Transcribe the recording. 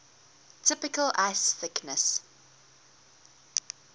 typical ice thickness